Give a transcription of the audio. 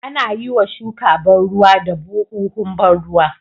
Anayiwa shuka ban ruwa da buhuhun ban ruwa